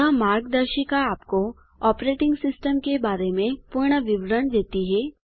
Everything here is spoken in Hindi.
यह मार्गदर्शिका आपको ऑपरेटिंग सिस्टम के बारे में पूर्ण विवरण देती है